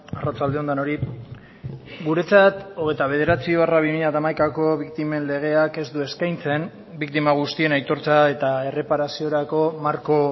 arratsaldeon denoi guretzat hogeita bederatzi barra bi mila hamaikako biktimen legeak ez du eskaintzen biktima guztien aitortza eta erreparaziorako marko